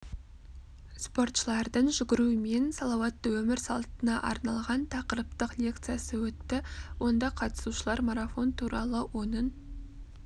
спортшылардың жүгіру мен салауатты өмір салтына арналған тақырыптық лекциясы өтті онда қатысушылар марафон туралы оның